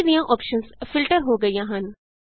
ਬਾਕੀ ਦੀਆਂ options filter ਹੋ ਗਈਆਂ ਹਨ